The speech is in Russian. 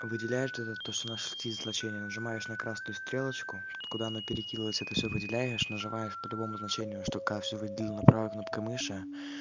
выделяет этот то что нашли значение нажимаешь на красную стрелочку откуда оно перекинулось это всё выделяешь нажимаешь по-любому значению что каждый видел на правой кнопкой мыши